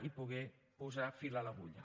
i poder posar fil a l’agulla